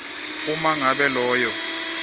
uma ngabe loyo